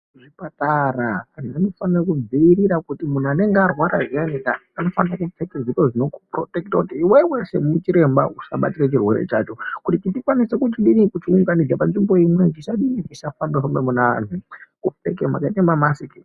Zvipatara antu anofanira kudziirira, kuti muntu anenge arwara zviyanika anofanira kupfeke zviro zvinokupurotekita kuti iwewe semuchiremba usabatira chirwere chacho. Kuti tikwanise kuchidini, kuchiunganidza panzvimbo imwe chisadini, chisafamba-famba muneantu, ngekupfeke mamasiki.